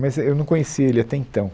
Mas é, eu não conhecia ele até então.